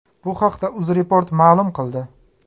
Bu haqda UzReport ma’lum qildi .